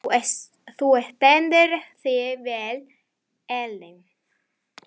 Þú stendur þig vel, Ellen!